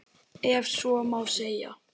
Ef svo má segja.